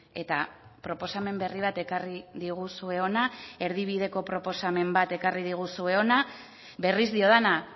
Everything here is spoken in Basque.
eta proposamen berri bat ekarri diguzue hona erdibideko proposamen bat ekarri diguzue hona berriz diodana